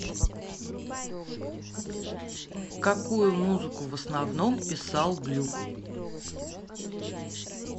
какую музыку в основном писал глюк